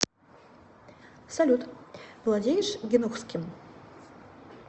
салют владеешь гинухским